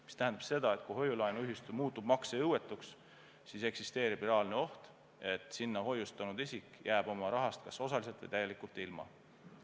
See tähendab seda, et kui hoiu-laenuühistu muutub maksejõuetuks, siis eksisteerib reaalne oht, et sinna hoiustanud isik jääb oma rahast kas osaliselt või täielikult ilma.